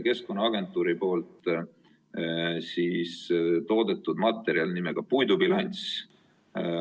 Keskkonnaagentuur on tootnud materjali nimega "Puidubilanss".